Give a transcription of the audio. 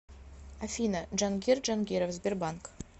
афина джангир джангиров сбербанк